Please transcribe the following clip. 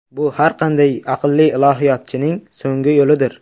Bu har qanday aqlli ilohiyotchining so‘nggi yo‘lidir.